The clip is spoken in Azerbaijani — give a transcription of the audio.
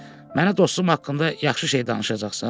Mənə dostum haqqında yaxşı şey danışacaqsan?